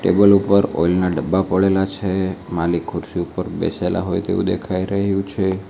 દુકાન ઉપર ઓઇલ ના ડબ્બા પડેલા છે માલિક ખુરશી ઉપર બેસેલા હોય તેવું દેખાઈ રહ્યું છે.